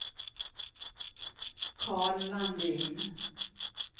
Karl Landin